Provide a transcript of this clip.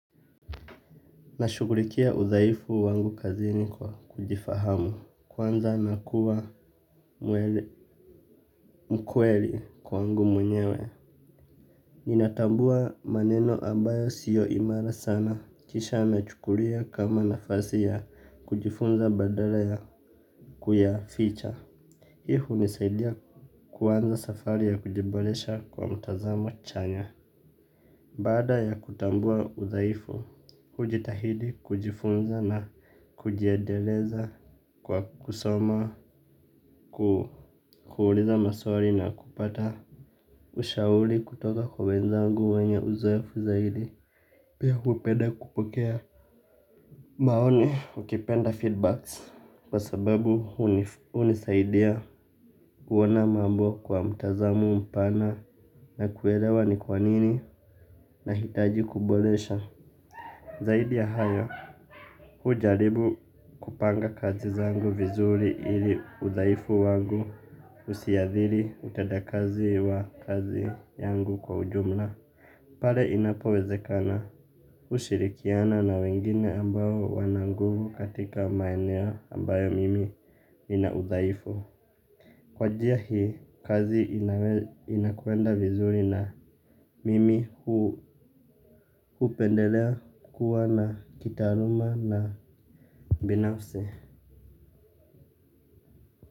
Nashugulikia udhaifu wangu kazini kwa kujifahamu. Kwanza nakuwa mkweli kwangu mwenyewe. Ninatambua maneno ambayo siyo imara sana. Kisha nachukulia kama nafasi ya kujifunza badala ya kuyaficha. Hii hunisaidia kuanza safari ya kujiboresha kwa mtazamo chanya. Baada ya kutambua udhaifu, hujitahidi kujifunza na kujiendeleza kwa kusoma, kuuliza maswari na kupata ushauli kutoka kwa wenzangu wanye uzoefu zaidi. Pia hupenda kupokea maoni ukipenda feedbacks kwa sababu hunisaidia kuona mambo kwa mtazamo mpana na kuelewa ni kwa nini nahitaji kuboresha. Zahidi ya hayo, hujaribu kupanga kazi zangu vizuri ili udhaifu wangu usiadhiri utendakazi wa kazi yangu kwa ujumla. Pare inapowezekana ushirikiana na wengine ambayo wana nguvu katika maeneo ambayo mimi nina udhaifu. Kwa njia hii, kazi inakwenda vizuri na mimi hupendelea kukua na kitaruma na binafsi.